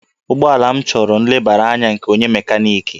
Ụgbọala m chọrọ nlebara anya nke onye mekaniki